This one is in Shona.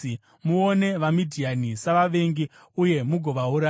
“Muone vaMidhiani savavengi uye mugovauraya,